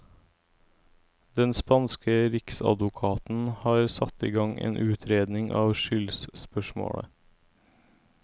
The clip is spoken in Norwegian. Den spanske riksadvokaten har satt i gang en utredning av skyldspørsmålet.